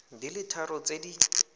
di le tharo tse di